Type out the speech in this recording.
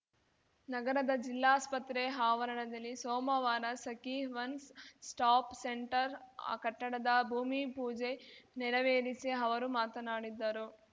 ನಗರದ ಜಿಲ್ಲಾಸ್ಪತ್ರೆ ಆವರಣದಲ್ಲಿ ಸೋಮವಾರ ಸಖೀ ಒನ್ಸ್‌ ಸ್ಟಾಪ್‌ ಸೆಂಟರ್‌ ಕಟ್ಟಡದ ಭೂಮಿಪೂಜೆ ನೆರವೇರಿಸಿ ಅವರು ಮಾತನಾಡಿದ್ದರು